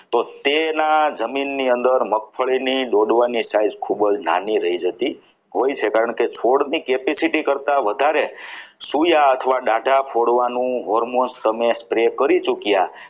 તો તેના જમીનની અંદર મગફળીની દોરવાની style ખૂબ જ નાની રહી જતી હોય છે કારણ કે છોડની capacity કરતા વધારે સોયા અથવા ડાટા ફોડવાનું hormones તમે spray કરી ચૂક્યા